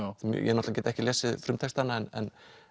ég náttúrulega get ekki lesið frumtextann en